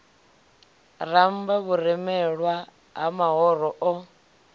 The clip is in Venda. ramba vhurumelwa ha mahoro o